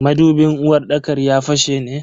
Madubin uwarɗakar ya fashe ne?